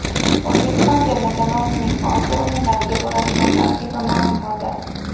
O‘zbekiston terma jamoasining Osiyo o‘yinlariga boradigan tarkibi ma’lum bo‘ldi.